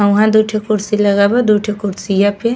और उहा दुठो कुर्सी लागल बा। दुठो कुर्सिया पे --